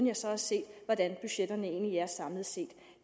jeg så har set hvordan budgetterne egentlig er samlet set